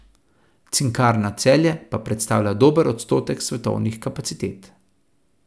Cinkarna Celje pa predstavlja dober odstotek svetovnih kapacitet.